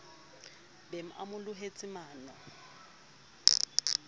be a mo lohetse mano